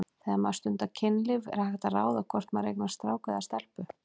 Þegar maður stundar kynlíf er hægt að ráða hvort maður eignast strák eða stelpu?